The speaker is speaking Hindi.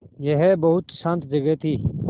यह बहुत शान्त जगह थी